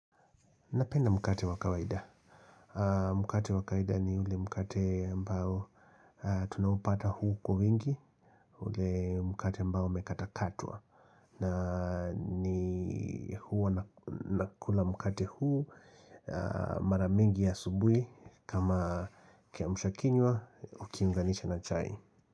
Napenda mkate wa kawaida. Mkate wa kawaida ni ule mkate ambao tunaupata huu kwa wingi, ule mkate ambao umekata katwa. Na ni huwa nakula mkate huo maramingi ya asubui kama kiamusha kinywa ukiunganisha na chai.